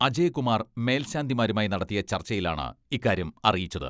അജയകുമാർ മേൽശാന്തിമാരുമായി നടത്തിയ ചർച്ചയിലാണ് ഇക്കാര്യം അറിയിച്ചത്.